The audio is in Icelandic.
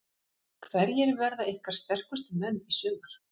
Hverjir verða ykkar sterkustu menn í sumar?